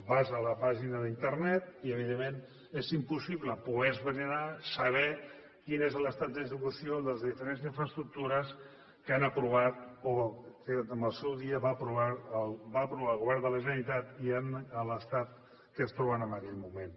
vas a la pàgina d’internet i evidentment és impossible poder esbrinar saber quin és l’estat d’execució de les diferents infraestructures que han aprovat o que al seu dia va aprovar el govern de la generalitat i en l’estat en què es troben en aquell moment